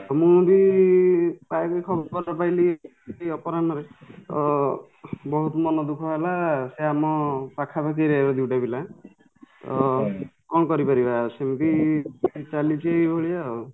ମୁଁ ବି ପାଇଲି ଖବର ପାଇଲି ଅପରାହ୍ନରେ ଅ ବହୁତ ମନଦୁଃଖ ହେଲା ସେ ଆମ ପାଖାପାଖି area ର ଦୁଇଟା ପିଲା ଅ କ'ଣ କରିପାରିବା ଶୁଣିକି ଚାଲିଛି ଏଭଳିଆଉ